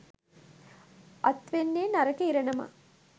අත් වෙන්නේ නරක ඉරණමක්.